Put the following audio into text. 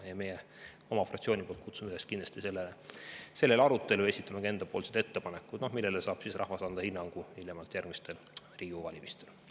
Meie oma fraktsiooniga kutsume kindlasti üles sellisele arutelule ja esitame ka enda ettepanekud, millele rahvas saab anda hinnangu hiljemalt järgmistel Riigikogu valimistel.